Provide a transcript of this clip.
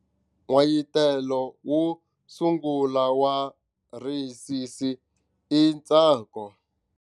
N'wayitelo wo sungula wa risisi i ntsako.